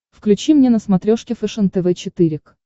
включи мне на смотрешке фэшен тв четыре к